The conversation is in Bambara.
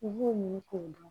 U b'u miiri k'o dun